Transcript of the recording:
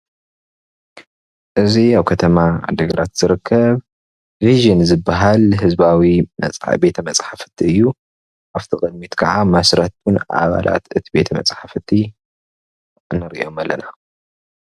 እዚ ኣብ ከተማ ዓዲግራት ዝርከብ ቪዥን ዝብሃል ህዝባዊ ቤተ መፅሓፍቲ እዩ ኣብቲ ቅድሚት ክዓ መስረትን ኣባላት እቲ ቤተ መፅሓፍቲ ንሪኦም ኣለና፡፡